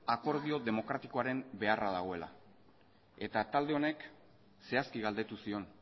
akordio demokratikoaren beharra dagoela eta talde honek zehazki galdetu zion